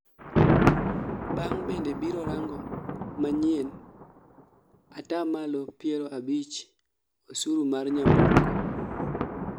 Beng' bende biro rango manyien ataa malo piero abich osur mar nyamburko